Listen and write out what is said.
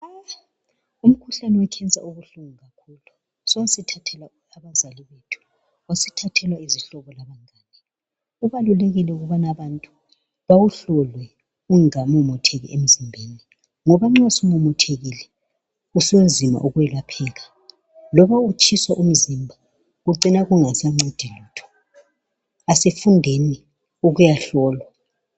Umkhuhlane wekhensa ubuhlungu kakhulu so sithathela abazali bethu sesithathela izihlobo labangani kubalulekile ukubana abantu bawuhlohle ungamemetheki emzimbeni ngoba nxa sumemethekile usunzima ukwelapheka lokutshisa umzimba kucina kungasancedi lutho asifundei ukuya hlolwa